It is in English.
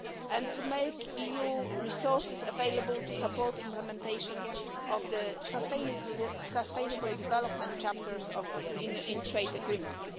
and to make EU resources available to support implementation of the sustainable development chapters in trade agreements.